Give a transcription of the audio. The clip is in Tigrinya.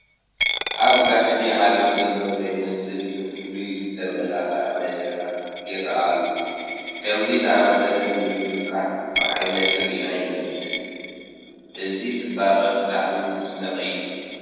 ኣብ ጋህዲ ዓለም ዘሎ ዘይመስል ብፍሉይ ዝተመላክዐ መድረኽ ይርአ ኣሎ፡፡ ከምዚ ዝኣምሰለ ምምልካዕ ብዓይነይ ሪአ ኣይፈልጥን፡፡ እዚ ፅባቐ ብጣዕሚ ዝደንቕ እዩ፡፡